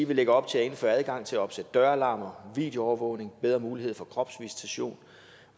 vi lægger op til at indføre adgang til at opsætte døralarmer videoovervågning bedre mulighed for kropsvisitation